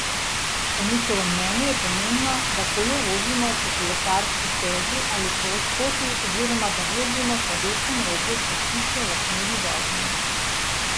Po njihovem mnenju je pomembno, da kolo vozimo po kolesarski stezi ali poti oziroma da vozimo po desnem robu cestišča v smeri vožnje.